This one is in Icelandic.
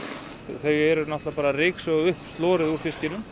þau eru bara að ryksuga upp slorið úr fiskinum